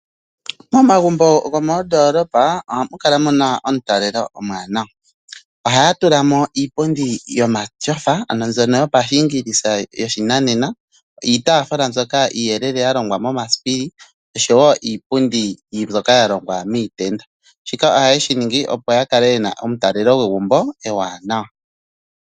Momagumbo gomoondoolopa ohamu kala mu na omutalelo omwaanawa. Ohaya tula mo iipundi yomatyofa, ano mbyono yopashiingilisa yoshinanena, iitaaafula mbyoka iiyelele ya longwa momasipili osho wo iipundi mbyoka ya longwa miitenda. Shika ohaye shi ningi, opo ya kale ye na omutalelo gwegumbo ewanawa.